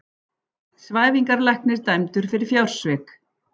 Svæfingarlæknir dæmdur fyrir fjársvik